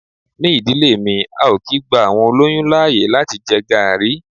Ni ìdílé mi, a ò kí gba àwọn olóyún láàyè láti jẹ Garri.